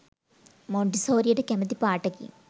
මොන්ටිසෝරියට කැමති පාටකින්